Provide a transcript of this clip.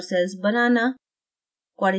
super cells banana